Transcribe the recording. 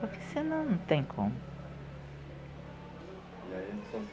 Porque se não não tem como. E aí